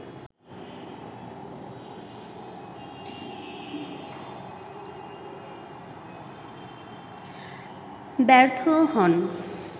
ব্যর্থও হন